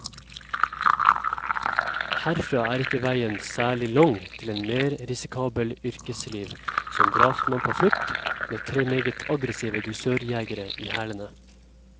Herfra er ikke veien særlig lang til et mer risikabelt yrkesliv, som drapsmann på flukt, med tre meget aggressive dusørjegere i hælene.